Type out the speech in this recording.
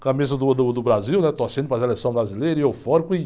Camisa do, do, do Brasil, né? Torcendo para a seleção brasileira, e eufórico, e